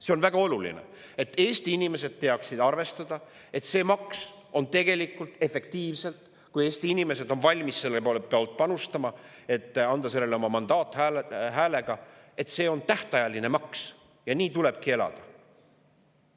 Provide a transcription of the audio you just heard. See on väga oluline, et Eesti inimesed teaksid arvestada, et kui nad on valmis panustama ja andma oma häälega selleks mandaadi, siis see maks on tegelikult efektiivselt tähtajaline maks, ja nii tulebki elada.